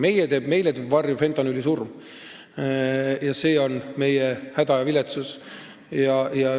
Meile heidavad varju fentanüülisurmad, need on meie häda ja viletsus.